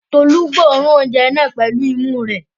Tolú gbóòórùn oúnjẹ náà pẹ̀lú imú rẹ̀?